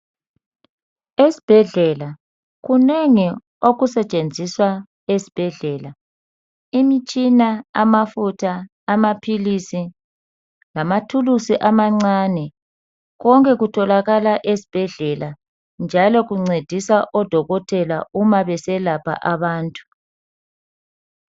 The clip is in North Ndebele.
Esibhedlela kunengi okusetshenziswa esibhedlela. Imtshina, amafutha, amaphilisi, lamathulusi amancane. Konke kutholakala esibhedlela njalo kuncedisa odotokotela uma beselapha abantu.